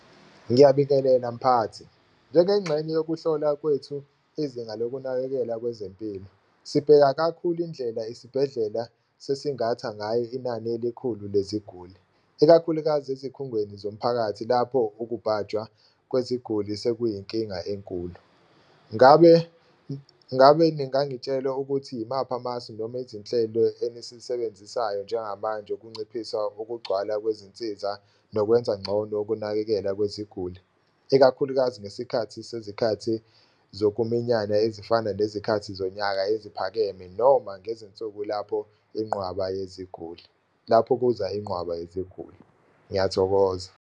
Ngiyabingelela mphathi, njengenxenye yokuhlola kwethu izinga lokunakekela kwezempilo sibheka kakhulu indlela isibhedlela sesingatha ngayo inani elikhulu leziguli ikakhulukazi ezikhungweni zomphakathi, lapho ukubhajwa kweziguli sekuyinkinga enkulu. Ngabe ngabe ningangitshela ukuthi imaphi amasu noma izinhlelo enisisebenzisayo njengamanje kunciphisa ukugcwala kwezinsiza, nokwenza ngcono ukunakekela kweziguli. Ikakhulukazi ngesikhathi sezikhathi zokuminyana ezifana nezikhathi zonyaka eziphakeme, noma ngezinsuku lapho inqwaba yeziguli lapho kuza inqwaba yeziguli. Ngiyathokoza.